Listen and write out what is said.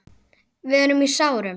Við erum í sárum.